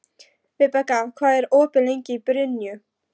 Vibeka, hvað er opið lengi í Brynju?